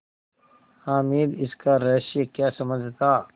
हामिद इसका रहस्य क्या समझता